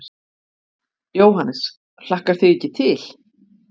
Jóhannes: Hlakkar þig ekki til?